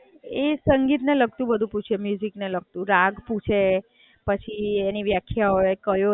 એ સંગીત ને લગતું બધુ પૂછે, મ્યુજિક ને લગતું. રાગ પૂછે, પછી એની વ્યાખ્યા હોય, કયો રાગ કયા એમાં આવે પછી કીબોર્ડ નું નોલેજ હોવું જોઈએ, હાર્મોનિયમ બધુ.